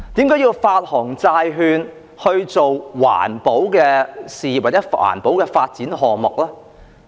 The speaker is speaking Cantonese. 為何要發行債券來發展環保事業或項目呢？